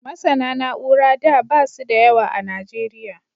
MasAna na'ura da basu da yawa a nigeria